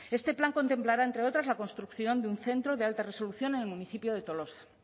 este plan contemplará entre otros la construcción de un centro de alta resolución en el municipio de tolosa